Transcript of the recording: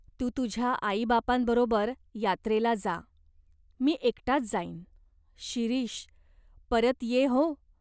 तू तुझ्या आईबापांबरोबर यात्रेला जा. मी एकटाच जाईन." "शिरीष, परत ये हो.